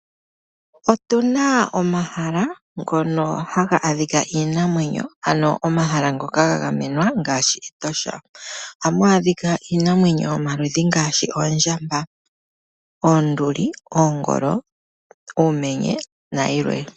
Otuna omahala ngono haga adhika iinamwenyo ano omahala ngoka ga gamenwa ngaashi Etosha. Ohamu adhika iinamwenyo yomaludhi ngaashi oondjamba, oonduli, oongolo, uumenye nayilwe.